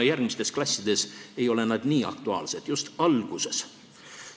Järgmistes klassides ei ole nad nii aktuaalsed kui just alguses.